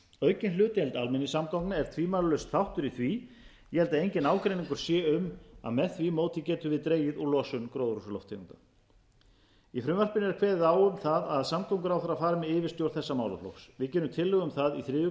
aukin hlutdeild almenningssamgangna er tvímælalaust þáttur í því ég held að enginn ágreiningur sé um það með því móti getum við dregið úr losun gróðurhúsalofttegunda í frumvarpinu er kveðið á um það að samgönguráðherra fari með yfirstjórn þessa málaflokks við gerum tillögu um það í þriðju